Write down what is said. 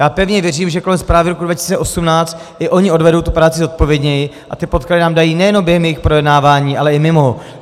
Já pevně věřím, že kolem zprávy roku 2018 i oni odvedou tu práci zodpovědněji a ty podklady nám dají nejenom během jejich projednávání, ale i mimo.